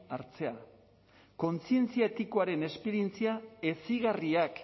hartzea kontzientzia etikoaren esperientzia hezigarriak